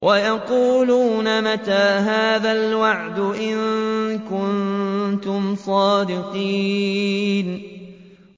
وَيَقُولُونَ مَتَىٰ هَٰذَا الْوَعْدُ إِن كُنتُمْ صَادِقِينَ